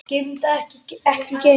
Geymt en ekki gleymt